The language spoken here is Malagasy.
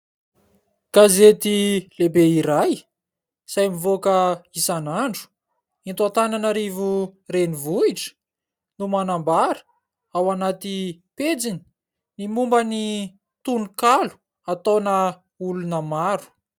Gazety lehibe iray izay mivoaka isan'andro eto Antananarivo renivohitra no manambara ao anaty pejiny ny momba ny tononkalo ataona olona maro.